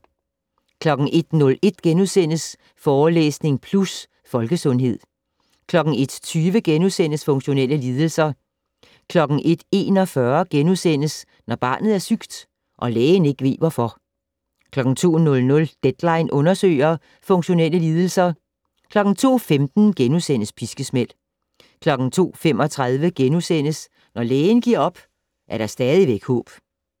01:01: Forelæsning Plus - Folkesundhed * 01:20: Funktionelle lidelser * 01:41: Når barnet er sygt - og lægen ikke ved hvorfor * 02:00: "Deadline" undersøger - funktionelle lidelser 02:15: Piskesmæld * 02:35: Når lægen giver op, er der stadigvæk håb *